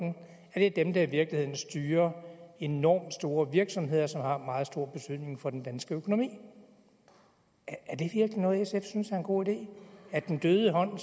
er dem der i virkeligheden styrer enormt store virksomheder som har meget stor betydning for den danske økonomi er det virkelig noget sf synes er en god idé er den døde hånd